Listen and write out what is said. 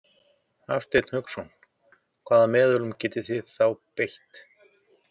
Hafsteinn Hauksson: Hvaða meðölum getið þið þá beitt?